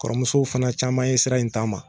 Kɔrɔmusow fɛnɛ caman ye sira in taama